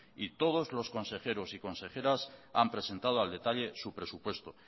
y todos los consejeros y consejeras han presentado al detalle su presupuesto